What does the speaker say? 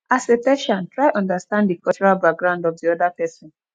as a persian try understand di cultural background of di oda person